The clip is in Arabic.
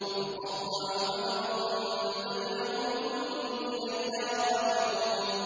وَتَقَطَّعُوا أَمْرَهُم بَيْنَهُمْ ۖ كُلٌّ إِلَيْنَا رَاجِعُونَ